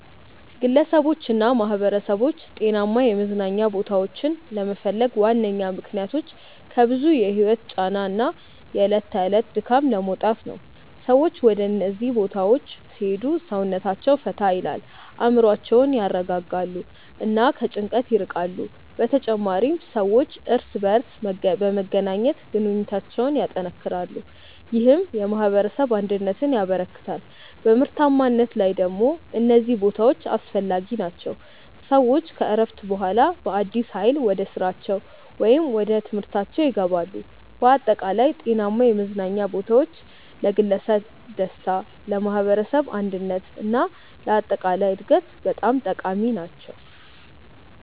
ግለሰቦችና ማኅበረሰቦች ጤናማ የመዝናኛ ቦታዎችን ለመፈለግ ዋነኛ ምክንያቶች ከብዙ የህይወት ጫና እና የዕለት ተዕለት ድካም ለመውጣት ነው። ሰዎች ወደ እነዚህ ቦታዎች ሲሄዱ ሰውነታቸውን ፈታ ይላል፣ አእምሮአቸውን ያረጋጋሉ እና ከጭንቀት ይርቃሉ። በተጨማሪም ሰዎች እርስ በርስ በመገናኘት ግንኙነታቸውን ያጠናክራሉ፣ ይህም የማኅበረሰብ አንድነትን ያበረክታል። በምርታማነት ላይ ደግሞ እነዚህ ቦታዎች አስፈላጊ ናቸው፤ ሰዎች ከእረፍት በኋላ በአዲስ ኃይል ወደ ስራቸው ወይም ወደ ትምህርታችው ይገባሉ። በአጠቃላይ ጤናማ የመዝናኛ ቦታዎች ለግለሰብ ደስታ፣ ለማኅበረሰብ አንድነት እና ለአጠቃላይ እድገት በጣም ጠቃሚ ናቸው።